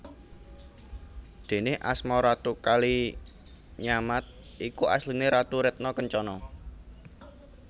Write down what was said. Déné asma Ratu Kalinyamat iku asliné Ratu Retna Kencana